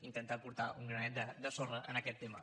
intentar aportar un granet de sorra en aquest tema